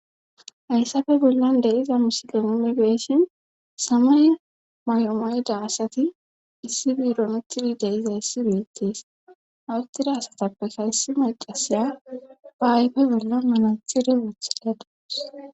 Hayssafe bollan deiza misilemunibeeshin samay may'omayda asati issi biironuthudi deiza issi biittiis awuttida asatappe kayssi maqasiya ba ayfe bollan manathide wothidadoes.